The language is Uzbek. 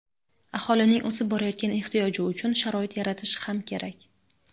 aholining o‘sib borayotgan ehtiyoji uchun sharoit yaratish ham kerak.